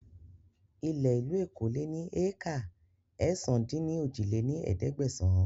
Ilẹ̀ ìlú Èkó lè ní éékà ẹ̀sán-dín-ní-ojì lé ní ẹ̀ẹ́dẹ́gbẹ́sán